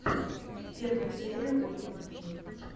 первая серия ольги матвей